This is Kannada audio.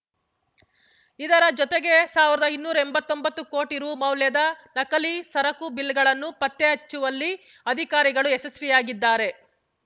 ಇದರ ಜತೆಗೆ ಸಾವ್ರ್ದಾ ಇನ್ನೂರಾ ಎಂಬತ್ತೊಂಬತ್ತು ಕೋಟಿ ರೂ ಮೌಲ್ಯದ ನಕಲಿ ಸರಕು ಬಿಲ್‌ಗಳನ್ನು ಪತ್ತೆ ಹಚ್ಚುವಲ್ಲಿ ಅಧಿಕಾರಿಗಳು ಯಶಸ್ವಿಯಾಗಿದ್ದಾರೆ